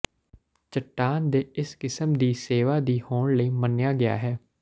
ਚੱਟਾਨ ਦੇ ਇਸ ਕਿਸਮ ਦੀ ਸੇਵਾ ਦੀ ਹੋਣ ਲਈ ਮੰਨਿਆ ਗਿਆ ਹੈ